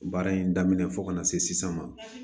Baara in daminɛ fo ka na se sisan ma